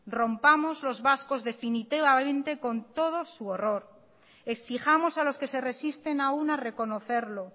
rompamos los vascos definitivamente con todo su horror exijamos a los que se resisten aún a reconocerlo